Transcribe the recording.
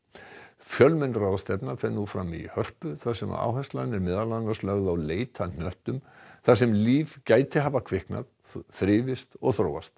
fjölmenn ráðstefna fer nú fram í Hörpu þar sem áherslan er meðal annars lögð á leit að hnöttum þar sem líf gæti hafa kviknað þrifist og þróast